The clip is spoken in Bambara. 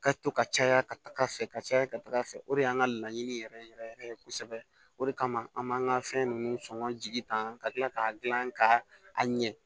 Ka to ka caya ka taga fɛ ka caya ka taga fɛ o de y'an ka laɲini yɛrɛ yɛrɛ yɛrɛ yɛrɛ ye kosɛbɛ o de kama an b'an ka fɛn ninnu sɔngɔ jigi ta ka tila k'a dilan ka a ɲɛ